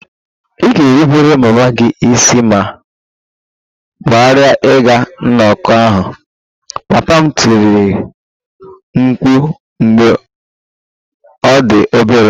Ị ga-erubere mama gị isi ma ghara ịga nnọkọ ahụ! Papa m tiri mkpu mgbe ọ dị obere